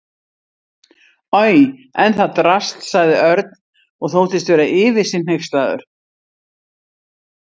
Oj, en það drasl sagði Örn og þóttist vera yfir sig hneykslaður.